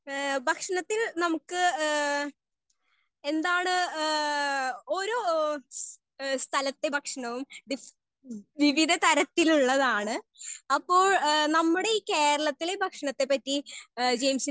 Speaker 1 ഹേ ഭക്ഷണത്തെ നമുക്ക് എന്താണ് ഹേ സ്ഥലത്തെ ഭക്ഷണവും വിവിധ തരത്തിൽ ഉള്ളതാണ്. അപ്പോൾ നമ്മുടെ ഈ കേരളത്തിലെ ഭക്ഷണത്തെ പറ്റി ജെയിംസ് ന്റെ